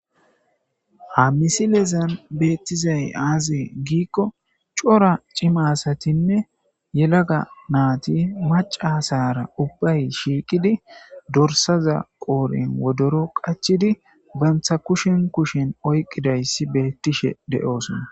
hamisilezan beettizay aazee giikko cora cimasatinne yelaga naati maca sara ubbay shiiqidi dorsaza qooren wodoro qachidi bantha kushin kushin oyqidayssi beettishe de7oosona